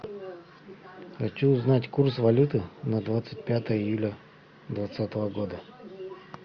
хочу узнать курс валюты на двадцать пятое июля двадцатого года